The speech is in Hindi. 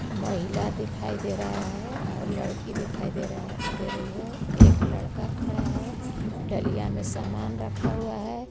महिला दिखाई दे रहा है और लड़की दिखाई दे रहा दे रही है एक लड़का खड़ा है दलिया में सामान रखा हुआ है.